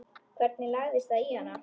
Hvernig lagðist það í hana?